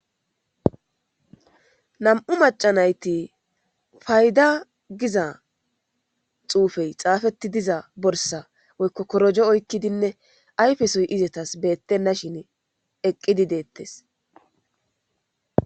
nam7u maca nayti fayda giza xuufey xaafeti diza borsa woykko korojo oykkidinne ayfesoy izetas beettenna shin eqqidi deettes